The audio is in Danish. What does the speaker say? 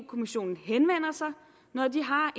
kommissionen henvender sig når de har